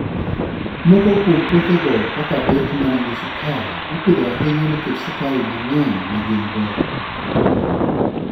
Moko kuom puothego, kaka beet ma nigi sukari, ipidho ahinya nikech sukari mang'eny ma gin-go.